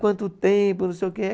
Quanto tempo, não sei o quê?